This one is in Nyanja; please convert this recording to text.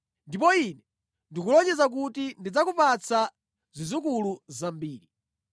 Ndipo Ine ndikulonjeza kuti ndidzakupatsa zidzukulu zambiri.”